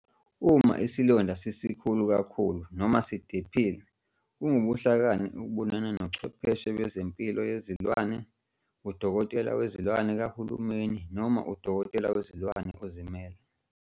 Uma isilonda sisikhulu kakhulu noma sidephile, kungubuhlakani ukubonana nochwepheshe bempilo yezilwane, udokotela wezilwane kahulumeni noma udokotela wezilwane ozimele.